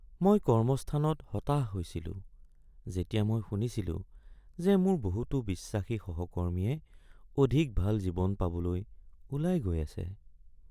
মই কৰ্মস্থানত হতাশ হৈছিলো যেতিয়া মই শুনিছিলোঁ যে মোৰ বহুতো বিশ্বাসী সহকৰ্মীয়ে অধিক ভাল জীৱন পাবলৈ ওলাই গৈ আছে।